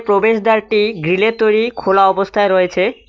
প্রবেশদ্বারটি গ্রীলের তৈরি খোলা অবস্থায় রয়েছে।